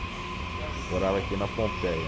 Morava aqui na Pompeia.